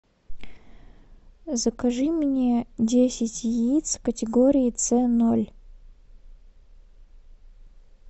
закажи мне десять яиц категории ц ноль